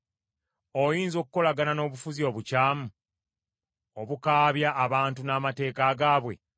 Oyinza okukolagana n’obufuzi obukyamu, obukaabya abantu n’amateeka gaabwe?